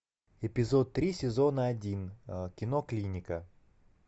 эпизод три сезона один кино клиника